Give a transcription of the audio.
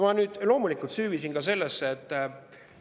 Ma loomulikult süüvisin ka sellesse.